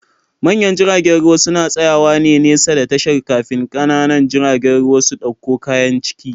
Manyan jiragen ruwa suna tsayawa nesa da tashar, kafin ƙanana jiragen ruwa su ɗauko kayan ciki